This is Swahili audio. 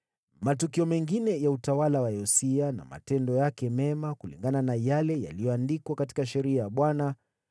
Matukio mengine ya utawala wa Yosia na matendo yake mema, kulingana na yale yaliyoandikwa katika sheria ya Bwana :